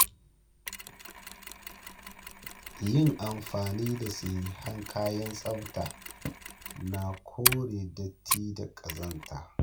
Yin amfani da sahihan kayan tsafta na kore datti da ƙazanta.